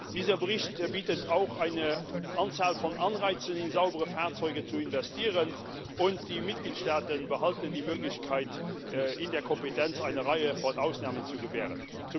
Dieser Bericht bietet auch eine Anzahl von Anreizen, in saubere Fahrzeuge zu investieren, und die Mitgliedstaaten behalten die Möglichkeit, in der Kompetenz eine Reihe von Ausnahmen zu gewähren.